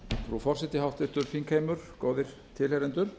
frú forseti háttvirtur þingheimur góðir tilheyrendur